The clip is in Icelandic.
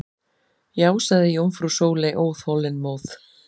Já sagði jómfrú Sóley óþolinmóð.